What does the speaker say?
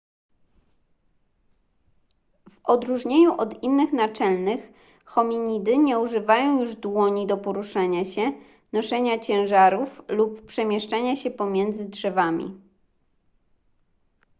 w odróżnieniu od innych naczelnych hominidy nie używają już dłoni do poruszania się noszenia ciężarów lub przemieszczania się pomiędzy drzewami